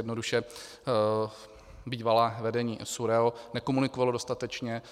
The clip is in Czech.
Jednoduše bývalé vedení SÚRAO nekomunikovalo dostatečně,